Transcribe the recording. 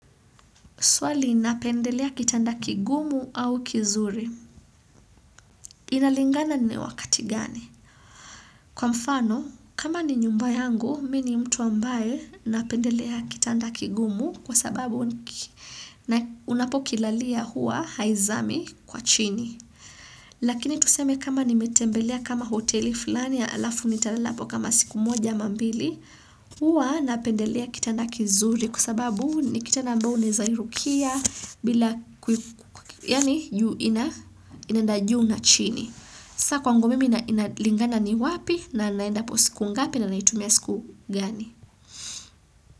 Suali napendelea kitanda kigumu au kizuri. Inalingana ni wakati gani? Kwa mfano, kama ni nyumba yangu, mi ni mtu ambaye napendelea kitanda kigumu kwa sababu unapokilalia hua haizami kwa chini. Lakini tuseme kama nimetembelea kama hoteli fulani alafu nitalala apo kama siku moja ama mbili, huwa napendelea kitanda kizuri kwa sababu ni kitanda ambayo unaeza irukia bila yani juu inaenda juu na chini saa kwangu mimi inalingana ni wapi na naenda apo siku ngapi na naitumia siku gani.